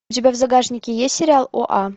у тебя в загашнике есть сериал оа